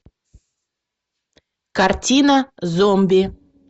картина зомби